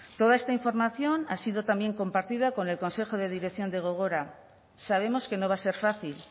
toda esta información ha sido también compartida con el consejo de dirección de gogora sabemos que no va a ser fácil